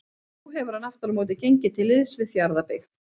Nú hefur hann aftur á móti gengið til liðs við Fjarðabyggð.